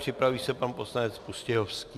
Připraví se pan poslanec Pustějovský.